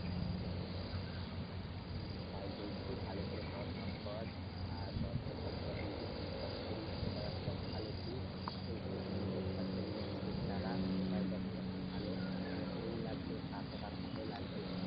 হুম তাই বলছি ভালো করে পড়াশোনা কর আর পড়াশোনার পাশাপাশি যদি কোনও job করিস সেটা একটা খুব ভালো দিক। এর থেকে নিজের খরচা যদি নিজে চালাস সেটাও দেখ খুব একটা ভালো, মানে তোর ও লাগবে কাকা-কাকিমার ও লাগবে।